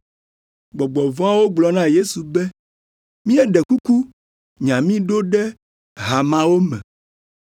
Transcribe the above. Gbɔgbɔ vɔ̃awo gblɔ na Yesu be, “Míeɖe kuku, nya mí ɖo ɖe ha mawo me.”